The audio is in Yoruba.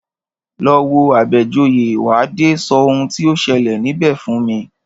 Lọ wo Àbẹ̀joyè, wà á dé sọ oun tí o ṣẹlẹ̀ níbẹ̀ fún mi!